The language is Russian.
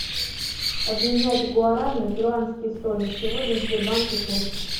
обменять гуарани на перуанские соли сегодня в сбербанке курс